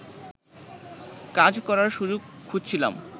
কাজ করার সুযোগ খুঁজছিলাম